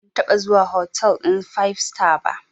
Ban taɓa zuwa hotel ɗin five star ba.